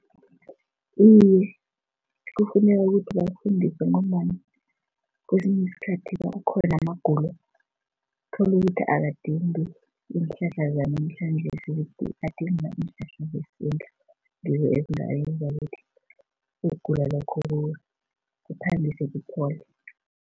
Iye, kufuneka ukuthi bafundiswe ngombana kwesinye isikhathi kukhona amagulo tholukuthi akadingi iinhlahla zanamhlanjesi, adinga iinhlahla zesintu. Ngizo ezingayenza ukuthi ukugula lokhu kukhambise kuphole.